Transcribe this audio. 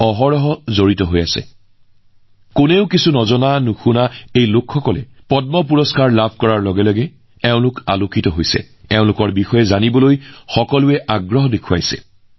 আমি এইসকল লোকৰ বিষয়ে আগতে প্ৰায়েই দেখা নাই বা শুনা নাই কিন্তু এতিয়া মই সুখী যে পদ্ম বঁটা ঘোষণাৰ পিছত এনে লোকৰ বিষয়ে সকলোতে চৰ্চা চলিছে মানুহে তেওঁলোকৰ বিষয়ে আৰু অধিক জানিবলৈ চেষ্টা কৰিছে বা জানিবলৈ আশাৰে বাট চাই আছে